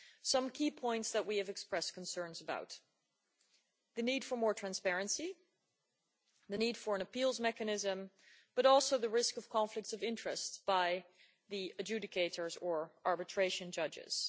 Some key points that we have expressed concerns about are the need for more transparency, the need for an appeals mechanism, and also the risk of conflicts of interest for adjudicators or arbitration judges.